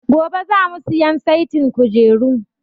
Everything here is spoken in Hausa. Gobe za mu siyan saitin kujeru